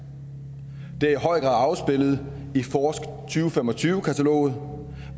det er i høj grad afspejlet i forsk2025 kataloget